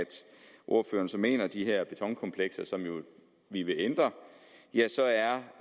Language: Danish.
ordføreren så mener de her betonkomplekser som vi vil ændre